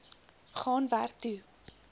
gaan werk toe